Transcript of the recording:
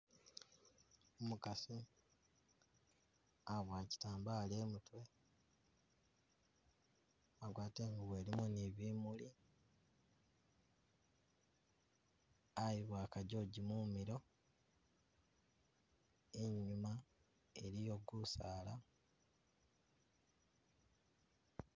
Umukasi aboya chitambala imutwe agwata ingubo ilimo ne bimuli ayiboya ka jojo mumilo inyuma iliyo gusaala